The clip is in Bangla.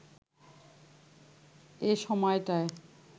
এ সময়টায়